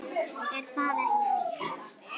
Er það ekki dýrt?